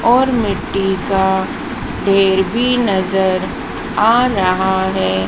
और मिट्टी का ढेर भी नजर आ रहा है।